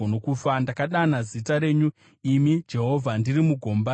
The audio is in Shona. Ndakadana zita renyu, imi Jehovha, ndiri mugomba rakadzika.